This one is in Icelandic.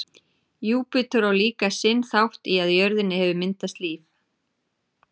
júpíter á líka sinn þátt í að á jörðinni hefur myndast líf